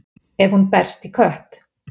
ef hún berst í kött